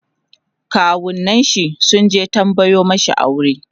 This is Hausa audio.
kawunnin shi sunje tambayo mashi aure